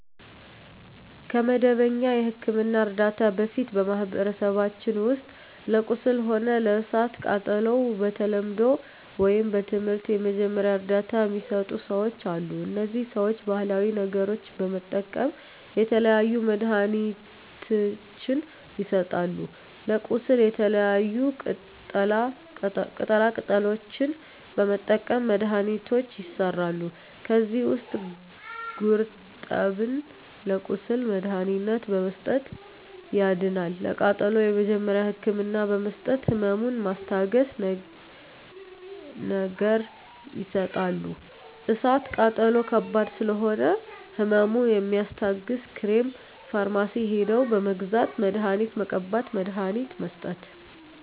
ከመደበኛ የሕክምና ዕርዳታ በፊት በማኀበረሰባችን ውስጥ ለቁስል ሆነ ለእሳት ቃጠሎው በተለምዶው ወይም በትምህርት የመጀመሪያ እርዳታ ሚሰጡ ሰዎች አሉ እነዚህ ሰዎች ባሀላዊ ነገሮች በመጠቀም የተለያዩ መድሀኒትችን ይሰጣሉ ለቁስል የተለያዩ ቅጠላ ቅጠሎችን በመጠቀም መድሀኒቶች ይሠራሉ ከዚህ ውስጥ ጉርጠብን ለቁስል መድሀኒትነት በመስጠት ያድናል ለቃጠሎ የመጀመሪያ ህክምና በመስጠት ህመሙን ሚስታግስ ነገር ይሰጣሉ እሳት ቃጠሎ ከባድ ስለሆነ ህመሙ የሚያስታግስ ክሬም ፈርማሲ ሄደው በመግዛት መድሀኒት መቀባት መድሀኒት መስጠት